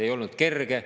Ei olnud kerge.